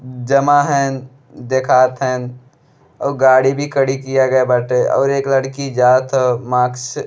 जमा हेन देखात हेन और गाड़ी भी खड़ी किया गया बाटे और एक लड़की जात ह। मास्क --